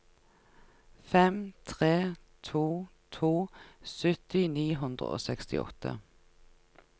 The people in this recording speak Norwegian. fem tre to to sytti ni hundre og sekstiåtte